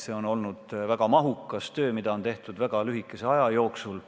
See on olnud väga mahukas töö, mida on tehtud väga lühikese aja jooksul.